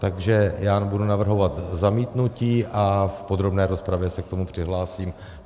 Takže já budu navrhovat zamítnutí a v podrobné rozpravě se k tomu přihlásím.